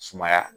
Sumaya